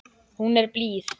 Hún er blíð.